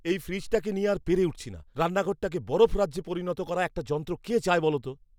এই ফ্রিজটাকে নিয়ে আর পেরে উঠছি না। রান্নাঘরটাকে বরফরাজ্যে পরিণত করা একটা যন্ত্র কে চায় বলো তো?